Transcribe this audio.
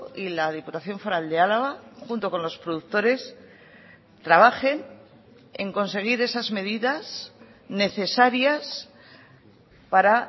y la diputación foral de álava junto con los productores trabajen en conseguir esas medidas necesarias para